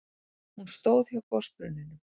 Hún stóð hjá gosbrunninum.